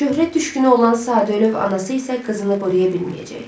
Şöhrət düşkünü olan sadəlövh anası isə qızını qoruya bilməyəcək.